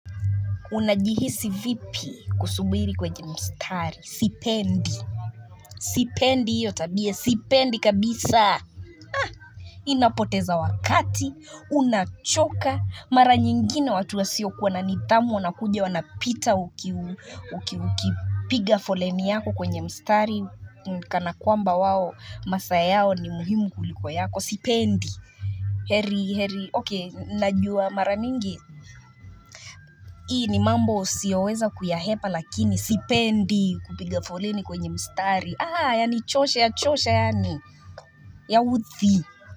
Unajihisi vipi kusubiri kwenye mstari. Sipendi. Sipendi hiyo tabia. Sipendi kabisa. Inapoteza wakati. Unachoka. Mara nyingine watu wasiokuwa na nidhamu wanakuja wanapita ukiu. Ukiu. Piga foleni yako kwenye mstari. Kana kwamba wao. Masaa yao ni muhimu kulikuwa yako. Sipendi. Heri, heri, okey, najua mara nyingi Hii ni mambo siyoweza kuyahepa lakini sipendi kupiga foleni kwenye mstari Aha, yanichosha yachoshe yaani Yaudhi.